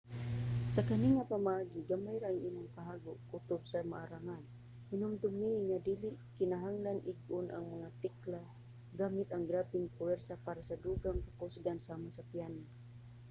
sa kani nga pamaagi gamay ra ang imong kahago kutob sa maarangan. hinumdumi nga dili kinahanglanng ig-on ang mga tekla gamit ang grabeng puwersa para sa dugang kakusgon sama sa piano